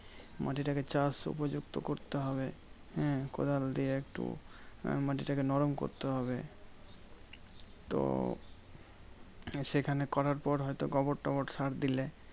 মাটিটাকে চাষ উপযুক্ত করতে হবে। হ্যাঁ কোদাল দিয়ে একটু আহ মাটিটাকে নরম করতে হবে। তো সেখানে করার পর হয়ত গোবর টবর সার দিলে,